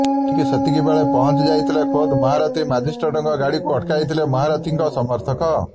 ଠିକ୍ ସେତିକି ବେଳେ ପହଁଞ୍ଚିଯାଇଥିଲେ ଖୋଦ୍ ମହାରଥୀ ମାଜିଷ୍ଟ୍ରେଟଙ୍କ ଗାଡିକୁ ଅଟକାଇଥିଲେ ମହାରଥୀଙ୍କ ସମର୍ଥକ